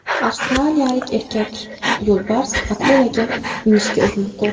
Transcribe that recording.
Avstraliyalik erkak yo‘lbars akulaga minishga urinib ko‘rdi .